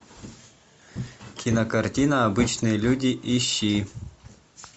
кинокартина обычные люди ищи